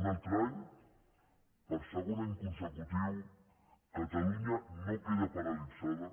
un altre any per segon any consecutiu catalunya no queda paralitzada